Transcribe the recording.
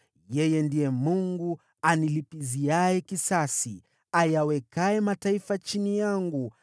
Yeye ndiye Mungu anilipiziaye kisasi, ayawekaye mataifa chini yangu,